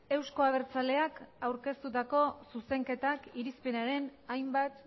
euzko abertzaleak aurkeztutako zuzenketak irizpenaren hainbat